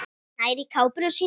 Nær í kápuna sína.